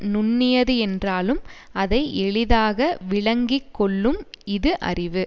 நுண்ணியது என்றாலும் அதை எளிதாக விளங்கி கொள்ளும் இது அறிவு